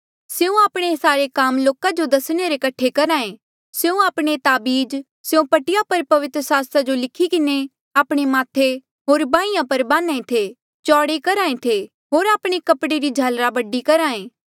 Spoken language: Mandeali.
स्यों आपणे सारे काम लोका जो दसणे रे कठे करहा ऐ स्यों आपणे ताबीज स्यों पट्टिया पर पवित्र सास्त्र जो लिखी किन्हें आपणे माथे होर बाहिंयां पर बान्हा ऐें थे चौड़े करहा ऐें होर आपणे कपड़े री झालरा बडी करहा ऐें